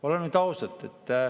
Oleme nüüd ausad.